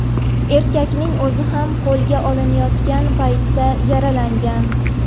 Erkakning o‘zi ham qo‘lga olinayotgan paytda yaralangan.